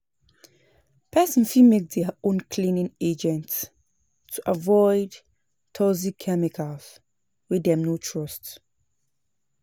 Person fit make their own cleaning agents to avoid toxic chemicals wey dem no trust